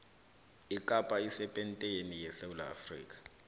ikapa isepenteni yesewula afrika